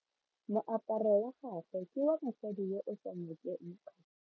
Moaparo wa gagwe ke wa mosadi yo o sa ngokeng kgatlhego.